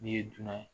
N'i ye dunan ye